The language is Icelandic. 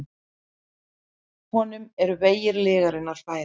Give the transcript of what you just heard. Honum eru vegir lyginnar færir.